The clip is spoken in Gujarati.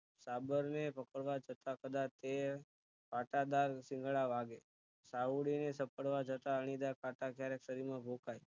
સાબર ને પકડવા જતા કદાચ એ કાંટાદાર શીંગડા વાગે સાહુડીને સકડવા જતા અણીદાર કાંટા ક્યારેક શરીર માં ધોપાય